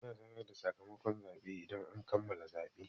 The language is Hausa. Ana sanar da sakamakon zaɓe idan an kammala zaɓe.